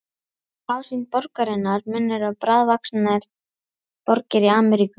Ásýnd borgarinnar minnir á bráðvaxnar borgir Ameríku.